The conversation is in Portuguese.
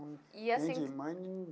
E assim. Nem de mãe nem.